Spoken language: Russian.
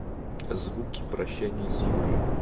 звуки прощания с юрой